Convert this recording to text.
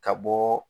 Ka bɔ